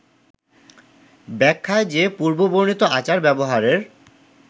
ব্যাখায় যে পূর্ববর্ণিত আচার-ব্যবহারের